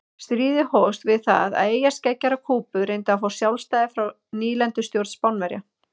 Stríðið hófst við það að eyjarskeggjar á Kúbu reyndu að fá sjálfstæði frá nýlendustjórn Spánverja.